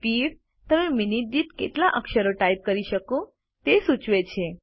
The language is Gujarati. સ્પીડ તમે મિનિટ દીઠ કેટલા અક્ષરો ટાઈપ કરી શકો તે સૂચવે છે